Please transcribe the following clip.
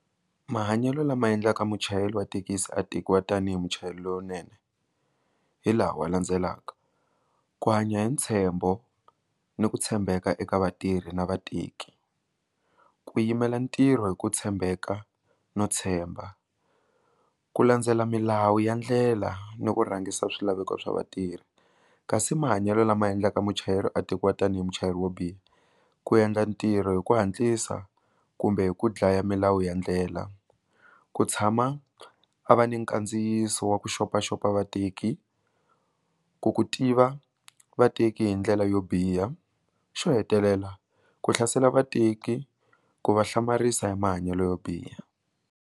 Mahanyelo lama endlaka muchayeri wa thekisi a tekiwa tanihi muchayeri lowunene hi laha wa landzelaka, ku hanya hi ntshembo ni ku tshembeka eka vatirhi na vateki, ku yimela ntirho hi ku tshembeka no tshemba ku landzela milawu ya ndlela ni ku rhangisa swilaveko swa vatirhi kasi mahanyelo lama endlaka muchayeri a tekiwa tanihi muchayeri wo biha ku endla ntirho hi ku hatlisa kumbe hi ku dlaya milawu ya ndlela, ku tshama a va ni kandziyiso wa ku xopaxop vateki ku ku tiva vateki hi ndlela yo biha xo hetelela ku hlasela vateki ku va hlamarisa ya mahanyelo yo biha.